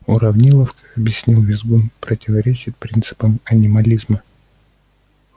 уравниловка объяснил визгун противоречит принципам анимализма